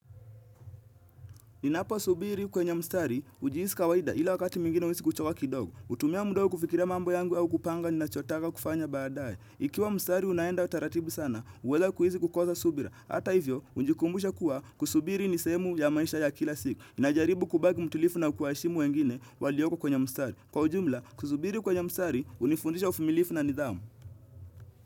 Ninapo subiri kwenye mstari hujihisi kawaida ila wakati mwingine huhisi kuchoka kidogo. Hutumia muda huo kufikiria mambo yangu au kupanga ninachotaka kufanya baadaye. Ikiwa mstari unaenda utaratibu sana, huweza kuhisi kukosa subira. Hata hivyo, hujikumbusha kuwa kusubiri ni sehemu ya maisha ya kila siku. Ninajaribu kubaki mtulivu na kuwaheshimu wengine walioko kwenye mstari. Kwa ujumla, kusubiri kwenye mstari, hunifundisha uvumilifu na nidhamu.